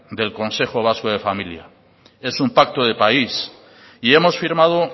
del consejo vasco de familia es un pacto de país y hemos firmado